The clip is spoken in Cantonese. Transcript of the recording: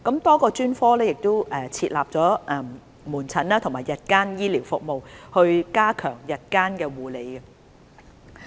多個專科會設立門診及日間醫療服務，以加強日間護理。